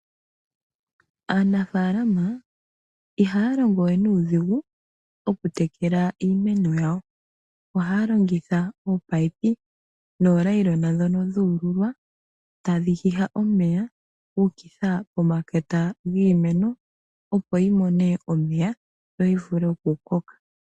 Aanafalama ihaya longo we nuudhigu okutekela iimeno yawo. Ohaya longitha oopayipi nooyilona ndhono dhu ululwa tadhi hiha omeya dhu ukitha pomakota giimeno, opo yi mone omeya yo yi vule okukoka.